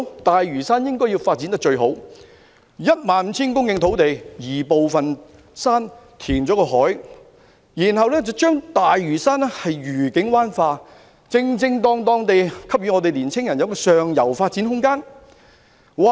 大嶼山應該要有最好的發展，在 15,000 公頃土地上，局部進行移山，另加填海，然後把大嶼山"愉景灣化"，恰當地給予年青人上游發展空間。